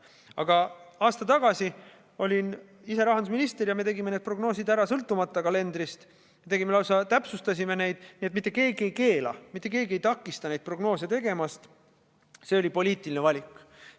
Aga aasta tagasi olin ise rahandusminister ja me tegime need prognoosid ära, sõltumata kalelendrist, lausa täpsustasime neid, nii et mitte keegi ei keela, mitte keegi ei takista neid prognoose tegemast, see oli poliitiline valik.